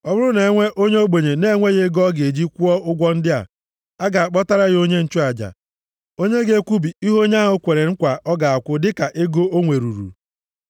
Ọ bụrụ na e nwee onye ogbenye na-enweghị ego ọ ga-eji kwụọ ụgwọ ndị a, a ga-akpọtara ya onye nchụaja, onye ga-ekwubi ihe onye ahụ kwere nkwa ga-akwụ dịka ego o nwere ruru.